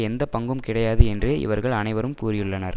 எந்த பங்கும் கிடையாது என்றே இவர்கள் அனைவரும் கூறியுள்ளனர்